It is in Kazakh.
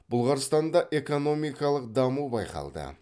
бұлғарстанда экономикалық даму байқалды